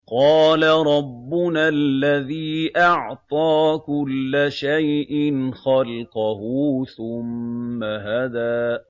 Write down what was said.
قَالَ رَبُّنَا الَّذِي أَعْطَىٰ كُلَّ شَيْءٍ خَلْقَهُ ثُمَّ هَدَىٰ